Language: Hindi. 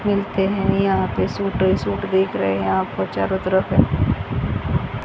मिलते हैं यहां पे सूट सूट बिक रहे हैं यहां पर चारों तरफ--